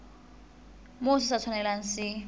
moo se sa tshwanelang se